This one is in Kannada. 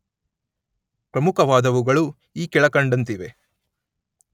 ಪ್ರಮುಖವಾದವುಗಳು ಈ ಕೆಳಕಂಡಂತಿವೆ.